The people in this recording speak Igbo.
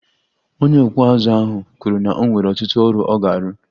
Onye okpu uzu ahụ kwuru na o nwere ọtụtụ ọrụ ọ ga-arụ